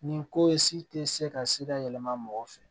Nin ko in si tɛ se ka sira yɛlɛma mɔgɔ fɛ